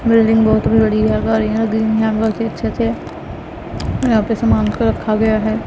Building बहोत ही बढ़िया अच्छे से यहां पे सामान को रखा गया है।